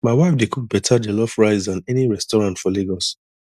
my wife dey cook better jollof rice than any restaurant for lagos